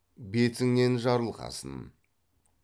бетіңнен жарылғасын